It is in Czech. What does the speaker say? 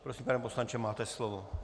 Prosím, pane poslanče, máte slovo.